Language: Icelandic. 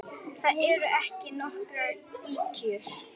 Það eru ekki nokkrar ýkjur.